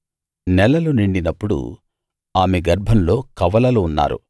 నెలలు నిండినప్పుడు ఆమె గర్భంలో కవలలు ఉన్నారు